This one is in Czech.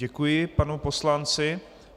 Děkuji panu poslanci.